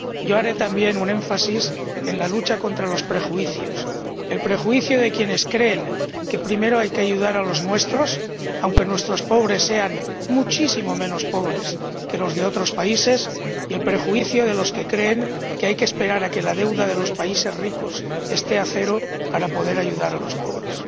Yo haré también un énfasis en la lucha contra los prejuicios el prejuicio de quienes creen que primero hay que ayudar a los nuestros, aunque nuestros pobres sean muchísimo menos pobres que los de otros países, y el prejuicio de los que creen que hay que esperar a que la deuda de los países ricos esté a cero para poder ayudar a los pobres.